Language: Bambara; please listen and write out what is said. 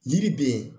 Yiri be